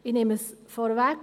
Ich nehme es vorweg: